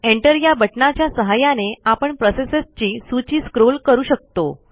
enter या बटणाच्या सहाय्याने आपण प्रोसेसेसची सूची स्क्रॉल करू शकतो